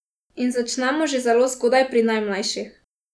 In začnemo že zelo zgodaj, pri najmlajših.